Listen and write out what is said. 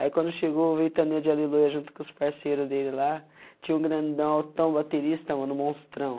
Aí, quando chegou o Ventania de Aleluia junto com os parceiros dele lá, tinha um grandão altão baterista mano um monstrão.